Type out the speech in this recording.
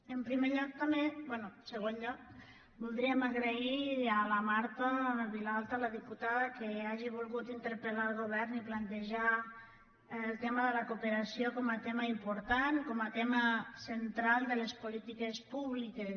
en segon lloc voldríem agrair a la marta vilalta la diputada que hagi volgut interpeltejar el tema de la cooperació com a tema important com a tema central de les polítiques públiques